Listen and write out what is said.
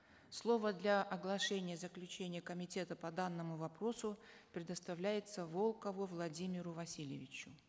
слово для оглашения заключения комитета по данному вопросу предоставляется волкову владимиру васильевичу